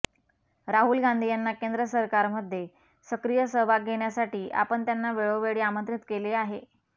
राहुल गांधी यांना केंद्र सरकारमध्ये सक्रिय सहभाग घेण्यासाठी आपण त्यांना वेळोवेळी आमंत्रित केले आहे